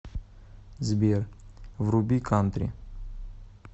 сбер вруби кантри